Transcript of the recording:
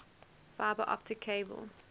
fiber optic cable